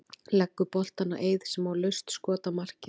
Leggur boltann á Eið sem á laust skot á markið.